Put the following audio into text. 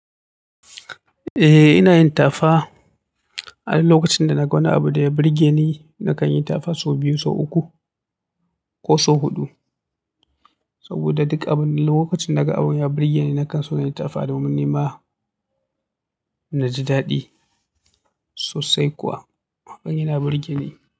Ae inayin tafa. Ai lokacin da naga wani abu ya burge ni nakanyi tafa sau biyu, sau uku ko sau hudu. Saboda duk abun- lokacinda naga abu ya burge ni nakanso inyi tafa domin nima. Naji daɗi sosai kuwa. Abun yana burge ni.